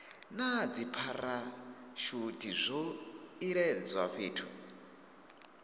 na dzipharashuthi zwo iledzwa fhethu